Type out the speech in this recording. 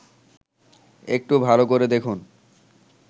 একটু ভাল করে দেখুন